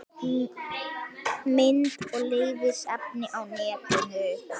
Mynd og lesefni á netinu